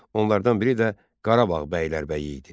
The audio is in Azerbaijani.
Onlardan biri də Qarabağ bəylərbəyi idi.